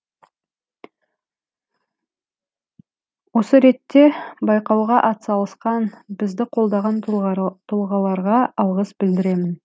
осы ретте байқауға атсалысқан бізді қолдаған тұлғаларға алғыс білдіремін